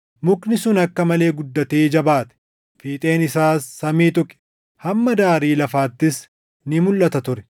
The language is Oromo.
Mukni sun akka malee guddatee jabaate; fiixeen isaas samii tuqe; hamma daarii lafaattis ni mulʼata ture.